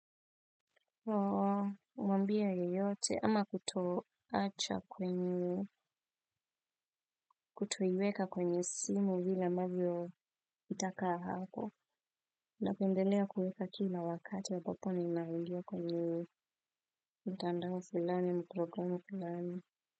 Oo. Umwambia yeyote ama kutoacha kwenye kutoiweka kwenye simu vile ambavyo itakaa hapo. Unapendelea kuweka kila wakati ambapo ninaingia kwenye mtandao fulani programu fulani.